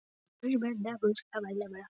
Halli las bréfið aftur og aftur.